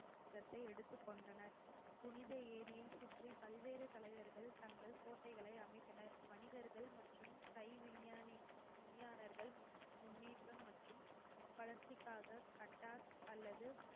நிர்வாகத்தை எடுத்துக் கொண்டனர் புனித ஏரியை சுற்றி பல்வேறு தலைவர்கள் தங்கள் கோட்டைகளை அமைத்தனர் வணிகர்கள் மற்றும் தை விஞ்ஞானி விஞ்ஞானர்கள் முன்னேற்றம் மற்றும் வளர்ச்சிக்காக cut off அல்லது